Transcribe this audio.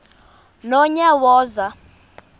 nonyawoza